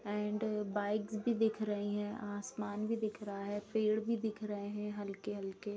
And bikes भी दिख रहीं हैं आसमान भी दिख रहा है पेड़ भी दिख रहे हैं हल्के-हल्के।